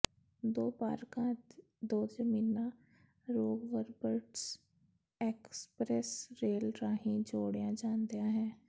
ਦੋ ਪਾਰਕਾਂ ਅਤੇ ਦੋ ਜ਼ਮੀਨਾਂ ਹੋਗਵਬਰਟਸ ਐਕਸਪ੍ਰੈਸ ਰੇਲ ਰਾਹੀਂ ਜੋੜੀਆਂ ਜਾਂਦੀਆਂ ਹਨ